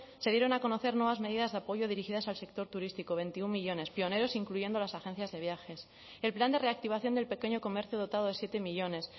se dieron a conocer nuevas medidas de apoyo dirigidas al sector turístico veintiuno millónes pioneros incluyendo las agencias de viajes el plan de reactivación del pequeño comercio dotado de siete millónes